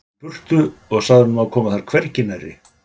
í burtu og sagt honum að koma þar hvergi nærri.